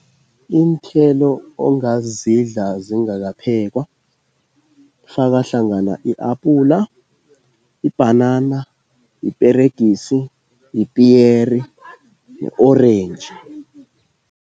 Iinthelo ongazidla zingakaphekwa kufaka hlangana i-apula, ibhanana, iperegisi yipiyeri ne-orentji.